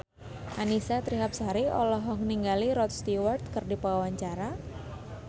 Annisa Trihapsari olohok ningali Rod Stewart keur diwawancara